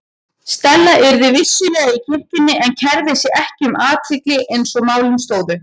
Stella yrði vissulega í kirkjunni en kærði sig ekki um athygli eins og málin stóðu.